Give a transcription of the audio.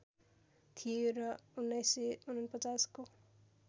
थियो र १९४९ को